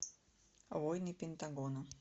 войны пентагона